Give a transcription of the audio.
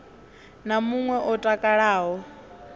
na mun we o takalaho